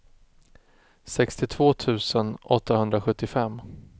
sextiotvå tusen åttahundrasjuttiofem